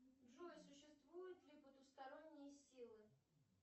джой существуют ли потусторонние силы